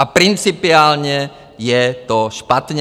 A principiálně je to špatně.